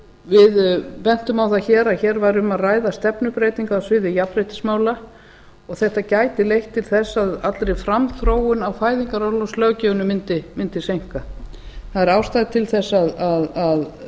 við bentum á það að hér væri um að ræða stefnubreytingu á sviði jafnréttismála og þetta gæti leitt til þess að allri framþróun á fæðingarorlofslöggjöfinni mundi seinka það er ástæða til þess að